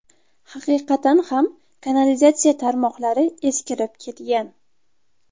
Haqiqatan ham kanalizatsiya tarmoqlari eskirib ketgan.